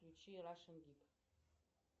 включи рашин гиг